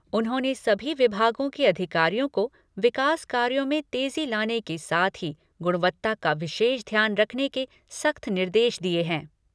उन्होंने सभी विभागों के अधिकारियों को विकास कार्यों में तेज़ी लाने के साथ ही गुणवत्ता का विशेष ध्यान रखने के सख़्त निर्देश दिए हैं।